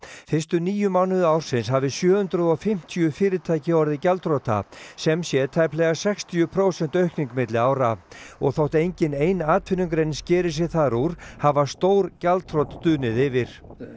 fyrstu níu mánuði ársins hafi sjö hundruð og fimmtíu fyrirtæki orðið gjaldþrota sem sé tæplega sextíu prósenta aukning milli ára og þótt engin ein atvinnugrein skeri sig þar úr hafa stór gjaldþrot dunið yfir